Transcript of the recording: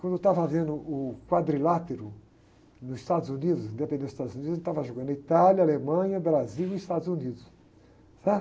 Quando eu estava vendo o quadrilátero nos Estados Unidos, independência dos Estados Unidos, estava jogando a Itália, Alemanha, Brasil e Estados Unidos. Sabe?